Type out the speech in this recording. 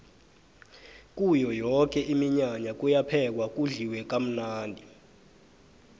kuyo yoke iminyanya kuyaphekwa kudliwe kamnandi